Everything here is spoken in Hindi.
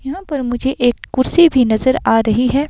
यहाँ पर मुझे एक कुर्सी भी नजर आ रही है।